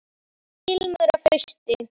Ilmur af hausti!